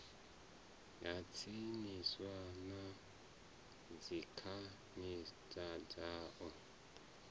ha tsinisa na dzikhasiama dzao